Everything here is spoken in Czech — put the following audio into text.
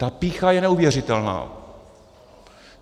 Ta pýcha je neuvěřitelná.